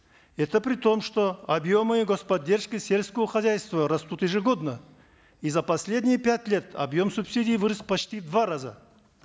это при том что объемы гос поддержки сельского хозяйства растут ежегодно и за последние пять лет объем субсидий вырос почти в два раза